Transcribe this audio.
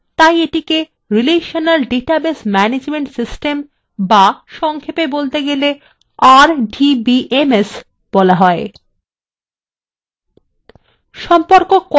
যেহেতু আমরা basea সম্পর্ক স্থাপন করতে পারি এটিকে একটি relational database management system base সংক্ষেপে বলতে গেলে rdbms বলা হয়